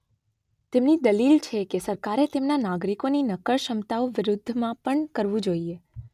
તેમની દલીલ છે કે સરકારે તેમના નાગરિકોની નક્કર ક્ષમતાઓ વિરુદ્ધ માપન કરવું જોઈએ.